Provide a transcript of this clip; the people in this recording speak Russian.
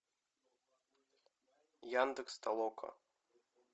яндекс толока